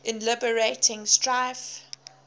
in liberating strife